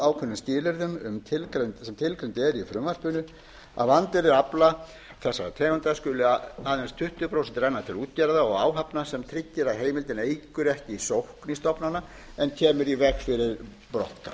er háð þeim skilyrðum sem tilgreind eru í frumvarpinu af andvirði afla þessara tegunda skuli aðeins tuttugu prósent renna til útgerða og áhafna sem tryggir að heimildin eykur ekki sókn í stofna en kemur í veg fyrir brottkast